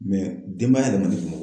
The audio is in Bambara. denba le man